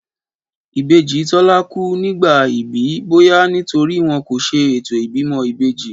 Ìbejí Tólá kú nígbà ìbí, bóyá nítorípé wón kò se ètò ìbímọ ìbejí